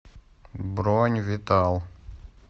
бронь витал